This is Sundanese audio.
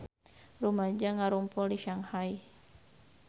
Rumaja ngarumpul di Shanghai